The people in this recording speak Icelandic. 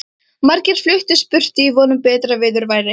Margir fluttust burtu í von um betra viðurværi.